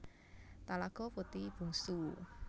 Talago Puti Bungsu